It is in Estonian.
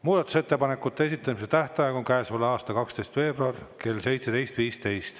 Muudatusettepanekute esitamise tähtaeg on käesoleva aasta 12. veebruar kell 17.15.